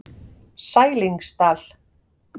Sælingsdal